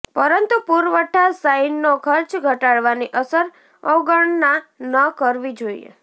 પરંતુ પુરવઠા સાઈનનો ખર્ચ ઘટાડવાની અસર અવગણના ન કરવી જોઈએ